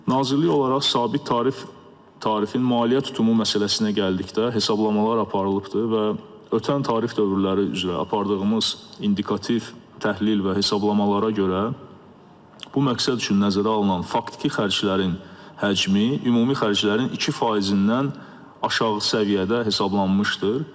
Nazirlik olaraq sabit tarif tarifin maliyyə tutumu məsələsinə gəldikdə, hesablamalar aparılıbdır və ötən tarif dövrləri üzrə apardığımız indikativ təhlil və hesablamalara görə bu məqsəd üçün nəzərə alınan faktiki xərclərin həcmi ümumi xərclərin 2 faizindən aşağı səviyyədə hesablanmışdır.